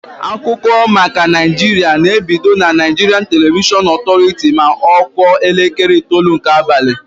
Akụkọ maka Naịjiria na-ebido na Naịjirian Televishọn Ọtọrity ma ọ kụọ elekere itoolu nke abalị.